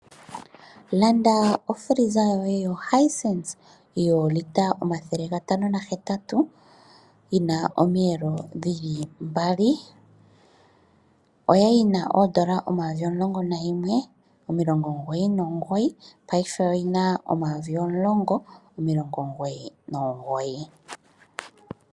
Landa ofiliza yoye yoHisense yoolita 508 yina omiyelo dhili mbali. Oyali yina N$ 11 999, paife oyina N$ 10 999.